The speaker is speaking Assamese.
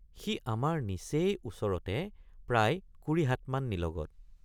সি আমাৰ নিচেই ওচৰতে প্ৰায় কুৰি হাতমান নিলগত।